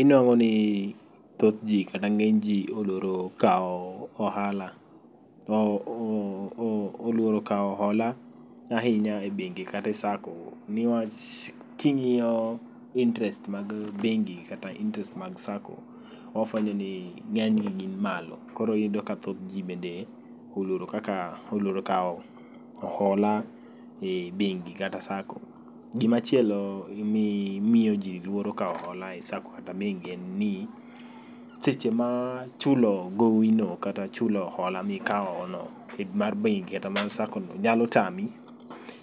Inwang'o ni thoth ji kata ng'eny ji oluoro kawo ohala, o oluoro kawo hola ahinya e bingi kate Sacco. Niwach king'iyo interest mag bengi kata interest mag Sacco, wafwenyo ni ng'enygi gin malo. Koro iyudo ka thoth ji bende oluoro kaka, oluoro kawo hola e bengi kata Sacco. Gimachielo mi miyo ji luoro kawo hola e Sacco kata bengi en ni seche ma chulo gowino kata chulo hola mikawo no mar bengi kata mar Sacco no nyalo tami,